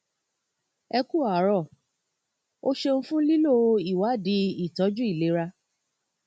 ẹ ku àárọ o ṣeun fún lílo ìwádìí ìtọjú ilera